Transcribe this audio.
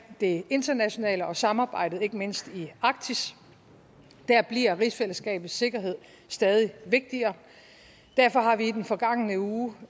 det internationale og samarbejdet ikke mindst i arktis der bliver rigsfællesskabets sikkerhed stadig vigtigere derfor har vi i den forgangne uge